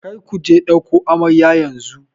Kar ku je ɗauko amaryar yanzu!